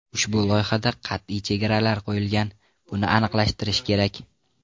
Ushbu loyihada qat’iy chegaralar qo‘yilgan, buni aniqlashtirish kerak.